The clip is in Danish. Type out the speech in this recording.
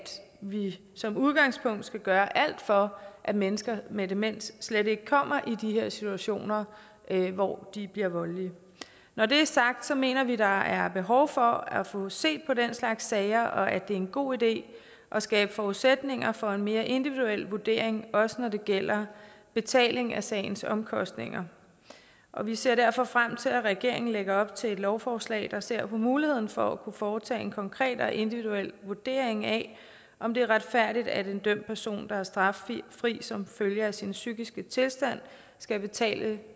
vi som udgangspunkt skal gøre alt for at mennesker med demens slet ikke kommer i de her situationer hvor de bliver voldelige når det er sagt mener vi der er behov for at få set på den slags sager og at det er en god idé at skabe forudsætninger for en mere individuel vurdering også når det gælder betaling af sagens omkostninger og vi ser derfor frem til at regeringen lægger op til et lovforslag der ser på muligheden for at kunne foretage en konkret og individuel vurdering af om det er retfærdigt at en dømt person der er straffri som følge af sin psykiske tilstand skal betale